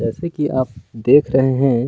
जैसे कि आप देख रहे है।